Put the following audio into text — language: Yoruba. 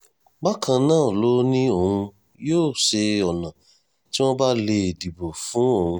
bákan náà ló ní òun yóò ṣe ọ̀nà tí wọ́n bá lè dìbò fún òun